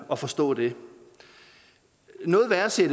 at forstå det men noget værre ser